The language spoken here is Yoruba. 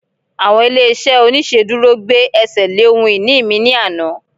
àwọn ilé iṣẹ oniṣeduro gbe ẹsẹ le ohun ini mi ni Ana